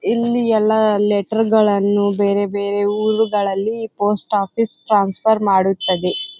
ಇಲ್ಲಿ ಎಲ್ಲ ಲೆಟರ್ ಗಳನ್ನೂ ಬೇರೆ ಬೇರೆ ಊರುಗಳ್ಳಲ್ಲಿ ಪೋಸ್ಟ್ ಆಫೀಸ್ ಟ್ರಾನ್ಸ್ಫರ್ ಮಾಡುತ್ತದೆ .